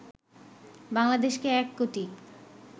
বাংলাদেশকে ১ কোটি